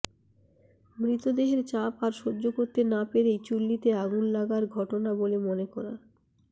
মৃতদেহের চাপ আর সহ্য করতে না পেরেই চুল্লিতে আগুন লাগার ঘটনা বলে মনে করা